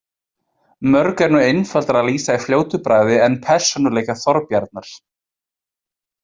Mörgu er nú einfaldara að lýsa í fljótu bragði en persónuleika Þorbjarnar.